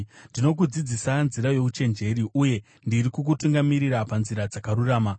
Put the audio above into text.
Ndinokudzidzisa nzira youchenjeri uye ndiri kukutungamirira panzira dzakarurama.